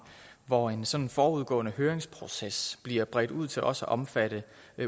hvor en sådan forudgående høringsproces bliver bredt ud til også at omfatte